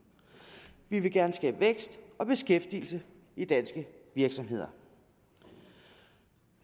vi vil gerne skabe vækst og beskæftigelse i danske virksomheder